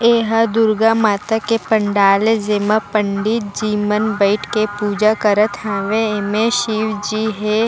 ये हा दुर्गा माता के पंडाल जेमा पंडित जी मन बइठ के पूजा करत हावय एमे शिव जी हे।